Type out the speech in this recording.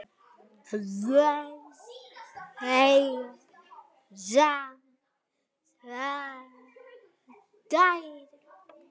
Þau eiga saman tvær dætur.